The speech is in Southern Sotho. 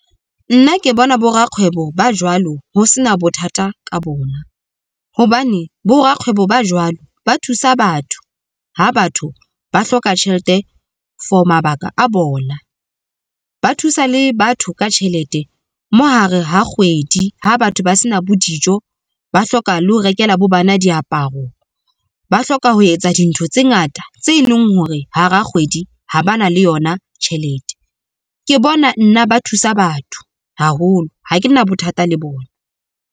Nna ke bona bo rakgwebo ba jwalo, ho se na bothata ka bona, hobane bo rakgwebo ba jwalo ba thusa batho ha batho ba hloka tjhelete for mabaka a bona. Ba thusa le batho ka tjhelete mo hare ha kgwedi. Ha batho ba se na bo dijo, ba hloka le ho rekela bana diaparo ba hloka ho etsa dintho tse ngata tse leng hore hara kgwedi ha ba na le yona tjhelete. Ke bona nna ba thusa batho haholo ha ke na bothata le bona.